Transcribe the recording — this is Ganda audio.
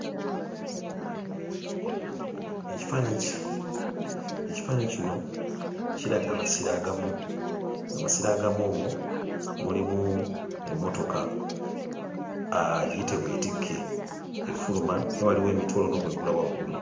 Ekifaananyi ki ekifaananyi kino kiraga amasiro agamu amasiro agamu omwo mulimu emmotoka aaa giyite weetikke efuluma naye waliwo emiti waliwo n'obwengula waggulu.